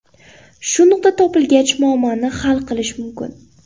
Shu nuqta topilgach muammoni hal qilish mumkin.